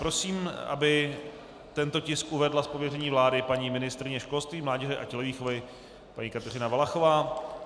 Prosím, aby tento tisk uvedla z pověření vlády paní ministryně školství, mládeže a tělovýchovy paní Kateřina Valachová.